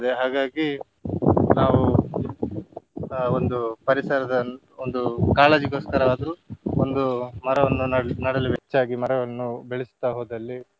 ಹಾಗಾಗಿ ನಾವು ಆ ಒಂದು ಪರಿಸರದ ಒಂದು ಕಾಳಜಿಗೋಸ್ಕರ ಆದ್ರೂ ಒಂದು ಮರವನ್ನು ನಡ್~ ನಡಲು ಹೆಚ್ಚಾಗಿ ಮರವನ್ನು ಬೆಳೆಸುತ್ತಾ ಹೋದಲ್ಲಿ.